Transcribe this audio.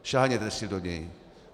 Sáhněte si do něj.